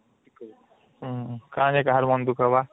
ହୁଁ କଣ ଯେ କାହାର ମନ ଦୁଃଖ ହବା